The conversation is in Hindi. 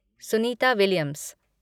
सुनीता विलियम्स